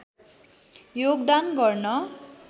योगदान गर्न